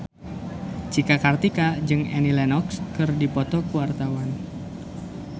Cika Kartika jeung Annie Lenox keur dipoto ku wartawan